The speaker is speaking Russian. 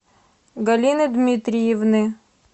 галины дмитриевны